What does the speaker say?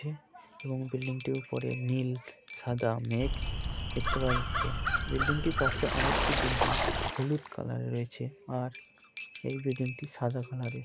ছে এবং বিল্ডিং টির উপরে নীল সাদা মেঘ দেখতে পাওয়া যাচ্ছে। বিল্ডিং টির পাশে আরেকটা বিল্ডিং হলুদ কালারের রয়েছে আর এই বিল্ডিং টি সাদা কালারের ।